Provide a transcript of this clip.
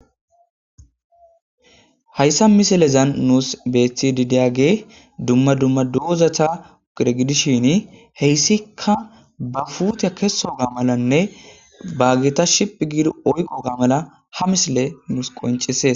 hayssa misilezan nuus beethidideyage dumma dumma doozata uqire gidishin heyssikka ba fuuteya keso ga malanne baagita shiphi giid oyqo ga mala ha misile nuus qoncisees